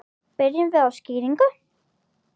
Byrjum við á skyrinu?